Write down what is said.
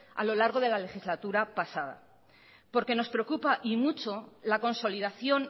a lo largo de la legislatura pasada porque nos preocupa y mucho la consolidación